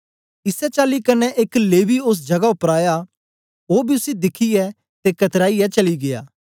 इसै चाली कन्ने एक लेवी ओस जगा उपर आया ओ बी उसी दिखियै ते कतराईयै चली गीया